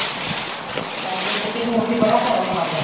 ਪਹਲੇ ਚ ਤੇ ਹੋਣ ਵਿਚ ਬੜਾ ਫਰਕ ਆ ਗਯਾ